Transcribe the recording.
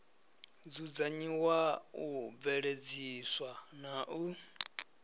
dzudzanyiwa u bveledziswa na u